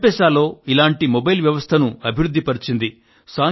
ఎమ్పాస్ లో ఇలాంటి మొబైల్ వ్యవస్థను అభివృద్ధిపరిచింది